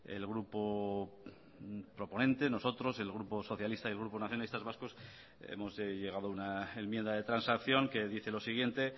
el grupo proponente nosotros el grupo socialista y el grupo nacionalistas vascos hemos llegado a una enmienda de transacción que dice lo siguiente